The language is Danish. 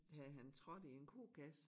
Havde han trådt i en kokasse